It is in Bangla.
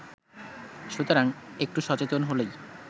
সুতরাং একটু সচেতন হলেই